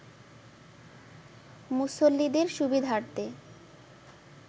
মুসল্লিদের সুবিধার্থে